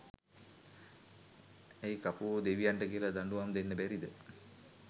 ඇයි කපුවො දෙවියන්ට කියල දඩුවම් දෙන්න බැරිද